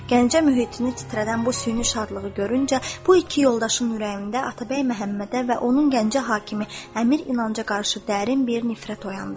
Gəncə mühitini titrədən bu süni şadlığı görüncə bu iki yoldaşın ürəyində Atabəy Məhəmmədə və onun Gəncə hakimi əmir İnanca qarşı dərin bir nifrət oyandı.